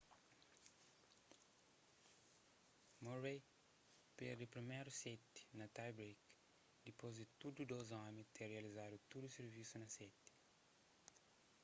murray perde priméru séti na tie break dipôs di tudu dôs omi ter rializadu tudu sirvisu na seti